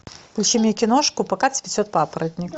включи мне киношку пока цветет папоротник